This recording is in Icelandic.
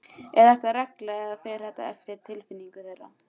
Er þetta regla eða fer þetta eftir tilfinningu þeirra?